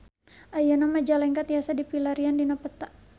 Ayeuna Majalengka tiasa dipilarian dina peta